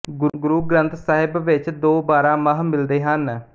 ਗੁਰੂ ਗ੍ਰੰਥ ਸਾਹਿਬ ਵਿੱਚ ਦੋ ਬਾਰਾਂਮਾਹ ਮਿਲਦੇ ਹਨ